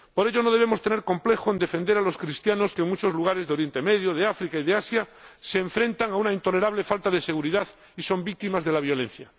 Por ello no debemos tener complejo en defender a los cristianos que, en muchos lugares de Oriente Medio, de África y de Asia, se enfrentan a una intolerable falta de seguridad y son víctimas de la violencia.